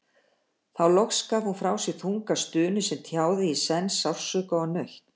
Þá loks gaf hún frá sér þunga stunu sem tjáði í senn sársauka og nautn.